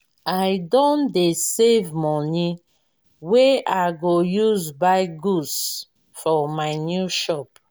i don dey save moni wey i go use buy goods for my new shop.